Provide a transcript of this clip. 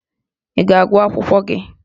Ị ga-agụ akwụkwọ gị?